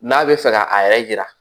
N'a bɛ fɛ ka a yɛrɛ yira